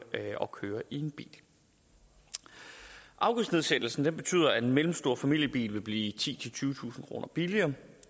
og køre i en bil afgiftsnedsættelsen betyder at en mellemstor familiebil vil blive titusind tyvetusind kroner billigere